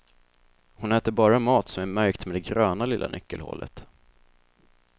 Hon äter bara mat som är märkt med det gröna lilla nyckelhålet.